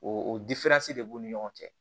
O o de b'u ni ɲɔgɔn cɛ